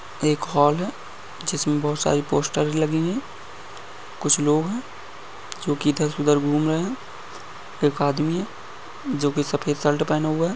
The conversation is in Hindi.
एक हाॅल है जिस में बहुत सारे पोस्टर लगी हुई है कुछ लोग हैं जो की इधर से उधर घुम रहे हैं एक आदमी है जो कि सफेद शट पेहन हुआ है।